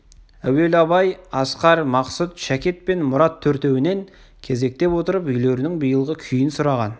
әуелі абай асқар мақсұт шәкет пен мұрат төртеуінен кезектеп отырып үйлерінің биылғы күйін сұраған